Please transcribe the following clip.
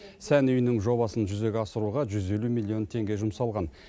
сән үйінің жобасын жүзеге асыруға жүз елу миллион теңге жұмсалған